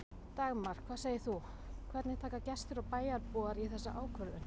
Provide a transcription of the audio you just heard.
Dagmar, hvað segir þú, hvernig taka gestir og bæjarbúar í þessa ákvörðun?